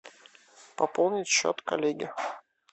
пополнить счет коллеге